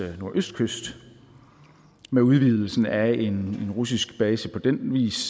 nordøstkyst med udvidelsen af en russisk base på den vis